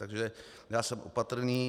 Takže já jsem opatrný.